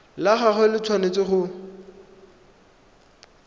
la gagwe le tshwanetse go